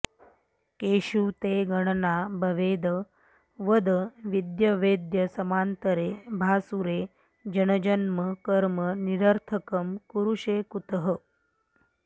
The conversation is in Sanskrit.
केषु ते गणना भवेद् वद विद्यवेद्यसमान्तरे भासुरे जनजन्म कर्म निरर्थकं कुरुषे कुतः